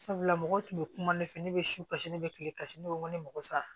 Sabula mɔgɔw tun bɛ kuma ne fɛ ne bɛ si kasi ne bɛ kile kasi ne ko n ko ne mako sa